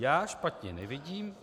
Já špatně nevidím.